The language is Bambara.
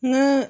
N ka